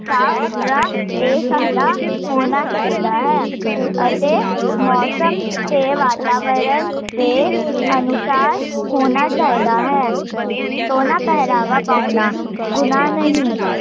ਸਾਫ ਸੁਥਰਾ ਤੇ ਸਾਦਾ ਹੋਣਾ ਚਾਹੀਦਾ ਹੈ ਅਤੇ ਮੋਸਮ ਤੇ ਵਾਤਾਵਰਣ, ਦੇ ਅਨੁਸਾਰ, ਹੋਣਾ ਚਾਹੀਦਾ ਹੈ ਸੋਹਣਾ ਪਹਿਰਾਵਾ ਪਾਉਣਾ, ਗੁਨਾਹ ਨਹੀਂ